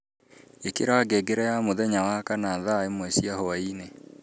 ikira ngengere ya muthenya wakana thaa imwe cia hwaini